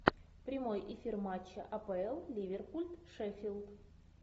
прямой эфир матча апл ливерпуль шеффилд